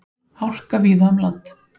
Hálka víða um land